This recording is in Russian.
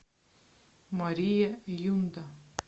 мария юнда